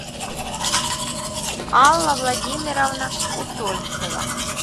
алла владимировна усольцева